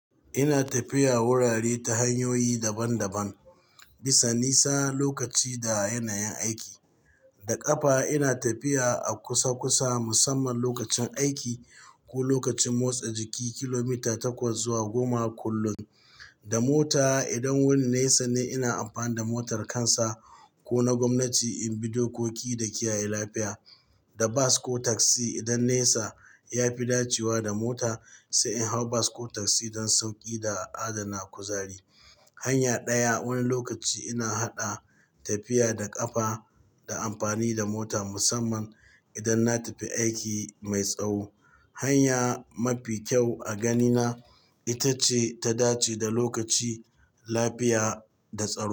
Ina tafiya wurare ta hanyoyi daban daban, bisa nisa, lokaci da yanayin aiki. Da ƙafa ina tafiya a kusa kusa musamman lokacin aiki ko lokacin motsa jiki kilomita takwas zuwa goma kullum. Da mota idan wurin nesa ne ina amfani da motar kansa ko na gwamnati in bi dokoki da kiyaye lafiya. Da bas ko tasi idan nesa ya fi dacewa da mota sai in hau bas ko tasi don sauƙi da adana kuzari. Hanya ɗaya wani lokaci ina haɗa tafiya da ƙafa da amfani da mota musamman idan na tafi aiki mai tsawo. Hanya mafi kyau a ganina ita ce ta dace da lokaci, lafiya da tsawo.